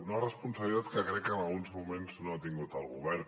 una responsabilitat que crec que en alguns moments no ha tingut el govern